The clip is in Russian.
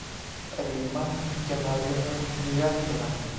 римма геннадьевна девяткина